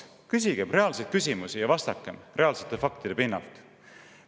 Küsigem küsimusi ja vastakem reaalsete faktide pinnalt.